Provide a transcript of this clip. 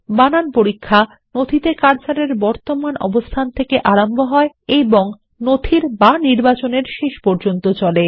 spell check cursor এর বর্তমানঅবস্থানথেকে আরম্ভহয়এবং নথির অথবা নির্বাচন এর শেষ পর্যন্ত চলে